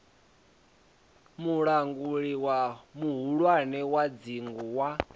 mulanguli muhulwane wa dzingu wa